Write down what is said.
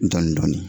Dɔɔnin dɔɔnin